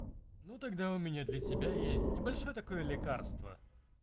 ну тогда у меня для тебя есть небольшое такое лекарство